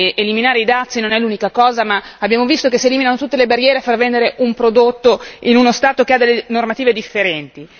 eliminare i dazi non è l'unica cosa, ma abbiamo visto che si eliminano tutte le barriere a far vendere un prodotto in uno Stato che ha normative differenti.